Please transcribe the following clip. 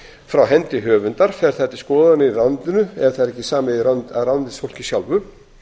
frá hendi höfundar fer það til skoðunar í ráðuneytinu ef það er ekki samið af ráðuneytisfólki sjálfu